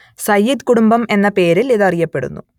സയ്യിദ് കുടുംബം എന്ന പേരിൽ ഇത് അറിയപ്പെടുന്നു